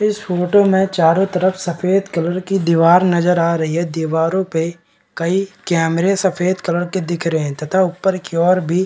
इस फोटो में चारों तरफ सफ़ेद कलर की दीवार नजर आ रही है दीवारों पे कई कैमरे सफ़ेद कलर के दिख रहे हैं तथा ऊपर के ओर भी --